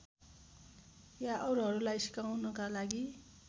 या अरूहरूलाई सिकाउनका लागि